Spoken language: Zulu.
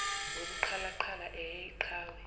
ngobuqhalaqhala ehhe iqhawe